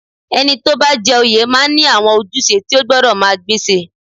Ẹni tó bá jẹ oyè máa ní àwọn ojúṣe tí o gbọ́dọ̀ máa gbéṣe